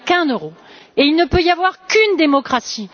Il n'y a qu'un euro et il ne peut y avoir qu'une démocratie!